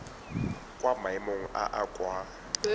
kwa maemong a a kwa